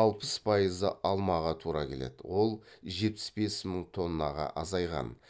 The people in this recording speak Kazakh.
алпыс пайызы алмаға тура келеді ол жетпіс бес мың тоннаға азайған